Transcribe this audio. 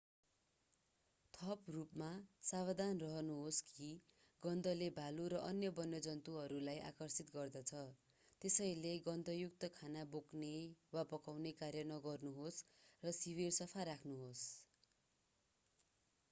थप रूपमा सावधान रहनुहोस् कि गन्धले भालु र अन्य वन्यजन्तुहरूलाई आकर्षित गर्दछ त्यसैले गन्ध युक्त खाना बोक्ने वा पकाउने कार्य नगर्नुहोस् र शिविर सफा राख्नुहोस्